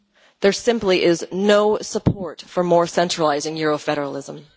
There simply is no support for more centralising Euro federalism.